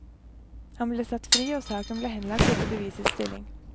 Han ble satt fri og saken ble henlagt etter bevisets stilling.